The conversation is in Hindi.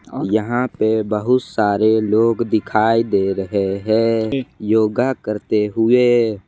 और यहां पे बहुत सारे लोग दिखाई दे रहे हैं योगा करते हुए।